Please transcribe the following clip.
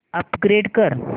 upgrade कर